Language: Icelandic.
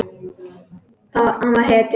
Hann var hetjan.